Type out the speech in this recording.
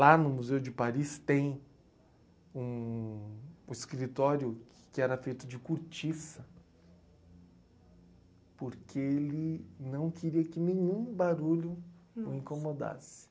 Lá no Museu de Paris tem um escritório que era feito de cortiça, porque ele não queria que nenhum barulho o incomodasse.